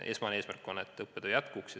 Esmane eesmärk on tagada õppetöö jätkumine.